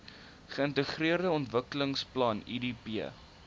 geintegreerde ontwikkelingsplan idp